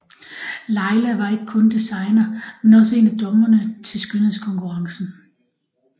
Laila var ikke kun designer men også en af dommerne til skønhedskonkurrencen